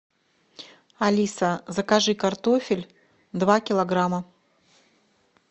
алиса закажи картофель два килограмма